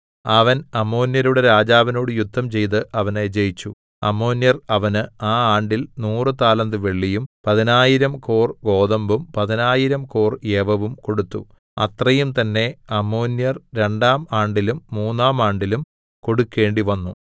അവൻ അമ്മോന്യരുടെ രാജാവിനോട് യുദ്ധം ചെയ്ത് അവനെ ജയിച്ചു അമ്മോന്യർ അവന് ആ ആണ്ടിൽ നൂറു താലന്ത് വെള്ളിയും പതിനായിരം കോർ ഗോതമ്പും പതിനായിരം കോർ യവവും കൊടുത്തു അത്രയും തന്നേ അമ്മോന്യർ രണ്ടാം ആണ്ടിലും മൂന്നാം ആണ്ടിലും കൊടുക്കണ്ടിവന്നു